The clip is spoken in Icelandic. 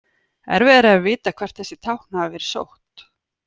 Erfiðara er að vita hvert þessi tákn hafa verið sótt.